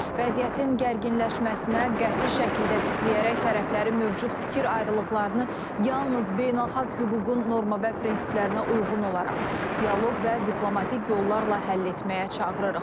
Vəziyyətin gərginləşməsinə qəti şəkildə pisliyərək tərəfləri mövcud fikir ayrılıqlarını yalnız beynəlxalq hüququn norma və prinsiplərinə uyğun olaraq dialoq və diplomatik yollarla həll etməyə çağırırıq.